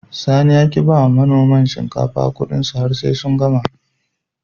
Sani ya ki bai wa manoman shinkafa Ƙudinsu har sai sun gama